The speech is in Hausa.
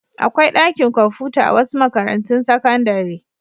Akwai ɗakin kwamfuta a wasu makarantun sakandare.